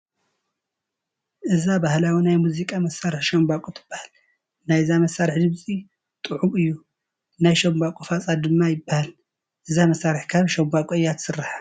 እዛ ባህላዊ ናይ ሙዚቃ መሳርሒ ሻምበቆ ትበሃል፡፡ ናይዛ መሳርሒ ድምፂ ጥዑም እዩ፡፡ ናይ ሻምበቆ ፋፃ ድማ ይበሃል፡፡ እዛ መሳርሒ ካብ ሻምበቆ እያ ትስራሕ፡፡